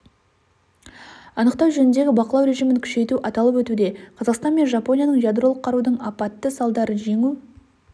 анықтау жөніндегі бақылау режимін күшейту аталып өтуде қазақстан мен жапонияның ядролық қарудың апатты салдарын жеңу